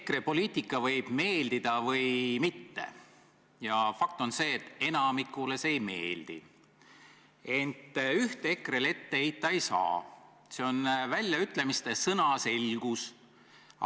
EKRE poliitika võib meeldida või mitte – ja fakt on see, et enamikule see ei meeldi –, ent ühte EKRE-le ette heita ei saa: see on väljaütlemiste sõnaselgus.